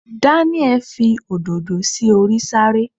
Daniel Fi òdòdó sí orí sàárè